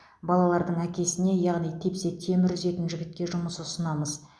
балалардың әкесіне яғни тепсе темір үзетін жігітке жұмыс ұсынамыз